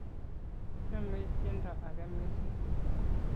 kichomei tiendo age mising'